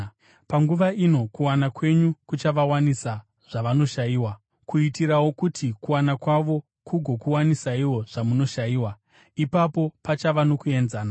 Panguva ino kuwana kwenyu kuchavawanisa zvavanoshayiwa, kuitirawo kuti kuwana kwavo kugokuwanisaiwo zvamunoshayiwa. Ipapo pachava nokuenzana,